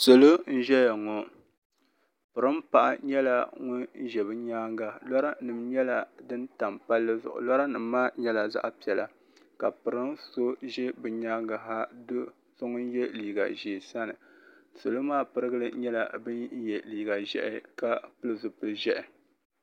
Salo n ʒɛya ŋɔ piringa paɣa nyɛla ŋun ʒɛ bi nyaanga lɔra nim nyɛla din tam palli zuɣu lɔra nim maa nyɛla zaɣa piɛla ka piringa so za bi nyaanga ha doo so ŋun yɛ liiga ʒee sani salo maa pirigili nyɛla bin yɛ liiga ʒiɛhi ka pili zipili ʒiɛhi.